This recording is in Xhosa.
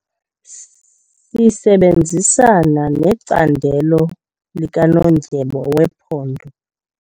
Sisebenzisana necandelo likanondyebo wephondo.